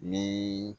Ni